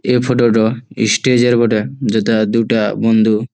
এ photo টো stage -এর বটে। যাতে দুটা বন্দু--